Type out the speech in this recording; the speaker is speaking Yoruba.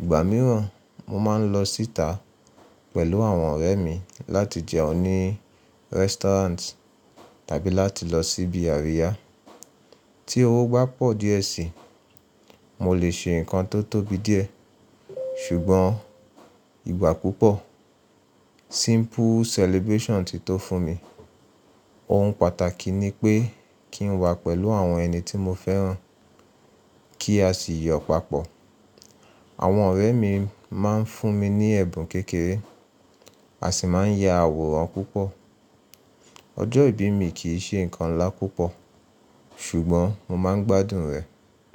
Ìgbà mìíràn, mo má n lọ síta pẹ̀lú àwọn ọ̀rẹ́ mi láti jẹun ní restaurant tàbí láti lọ síbi àríyá. Tí owó bá pọ̀ díẹ̀ sí i, mo lè ṣe nǹkan tó tóbi díẹ̀. Ṣùgbọ́n ìgbà púpọ̀, simple celebration ti tó fún mi. Ohun pàtàkì ni pé kí n wà pẹ̀lú àwọn ẹni tí mo fẹ́ràn kí a sì yọ̀ papọ̀. Àwọn ọ̀rẹ́ mi má n fún mi ní ẹ̀bùn kékeré a sì má n ya àwòrán púpọ̀. Ọjọ́ ìbí mi kì í ṣe nǹkan ńlá púpọ̀, ṣùgbọ́n mo má n gbádùn rẹ̀.